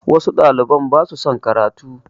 Wasu ɗaliban ba su son karatu